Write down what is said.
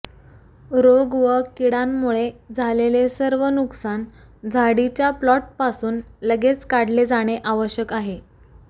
रोग व कीडांमुळे झालेले सर्व नुकसान झाडीच्या प्लॉटपासून लगेच काढले जाणे आवश्यक आहे